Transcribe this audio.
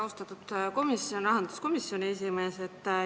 Austatud rahanduskomisjoni esimees!